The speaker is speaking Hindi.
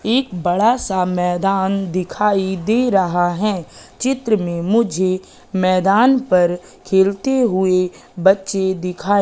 एक बड़ा सा मैदान दिखाई दे रहा है चित्र में मुझे मैदान पर खेलते हुए बच्चे दिखाई--